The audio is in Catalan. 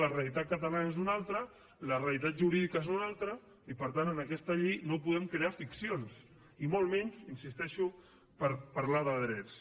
la realitat catalana és una altra la realitat jurídica és una altra i per tant amb aquesta llei no podem crear ficcions i molt menys hi insisteixo per parlar de drets